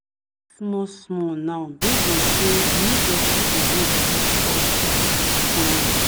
small small now based on say we no get people wey go help us follow work